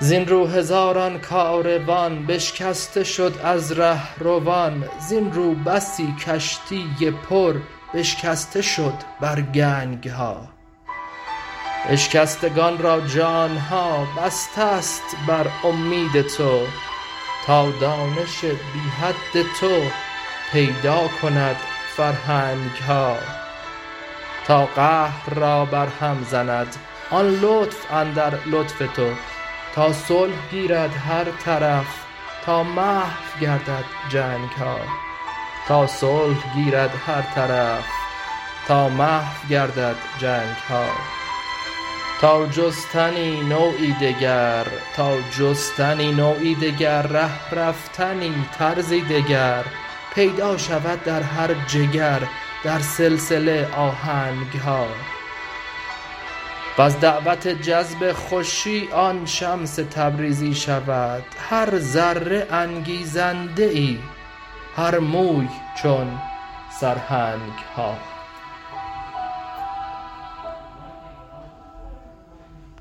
زین رو هزاران کاروان بشکسته شد از ره روان زین ره بسی کشتی پر بشکسته شد بر گنگ ها اشکستگان را جان ها بسته ست بر اومید تو تا دانش بی حد تو پیدا کند فرهنگ ها تا قهر را برهم زند آن لطف اندر لطف تو تا صلح گیرد هر طرف تا محو گردد جنگ ها تا جستنی نوعی دگر ره رفتنی طرزی دگر پیدا شود در هر جگر در سلسله آهنگ ها وز دعوت جذب خوشی آن شمس تبریزی شود هر ذره انگیزنده ای هر موی چون سرهنگ ها